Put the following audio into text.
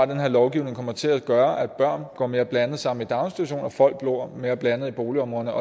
den her lovgivning kommer til at gøre at børn går mere blandet sammen i daginstitutioner og at folk bor mere blandet i boligområderne